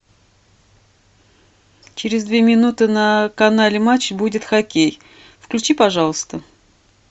через две минуты на канале матч будет хоккей включи пожалуйста